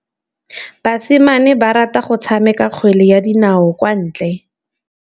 Basimane ba rata go tshameka kgwele ya dinaô kwa ntle.